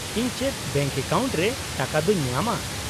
-ᱤᱧ ᱪᱮᱫ bank account ᱨᱮ ᱴᱟᱠᱟᱫᱚᱧ ᱧᱟᱢᱟ ?